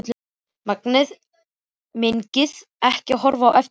Megnaði ekki að horfa á eftir henni, barninu.